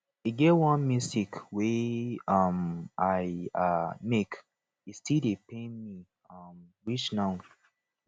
e get one mistake wey um i um make e still dey pain me um reach now